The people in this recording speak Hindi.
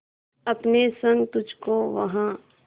अपने संग तुझको वहां